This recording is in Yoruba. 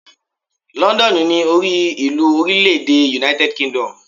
London ni orí ìlú orílè èdè United Kingdom